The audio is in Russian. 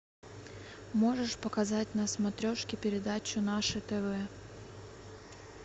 можешь показать на смотрешке передачу наше тв